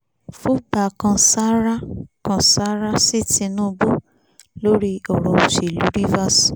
fùgbà kan sáárá kan sáárá sí tìǹbù lórí ọ̀rọ̀ òṣèlú rivers